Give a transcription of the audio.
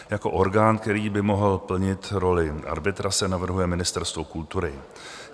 Jako orgán, který by mohl plnit roli arbitra, se navrhuje Ministerstvo kultury.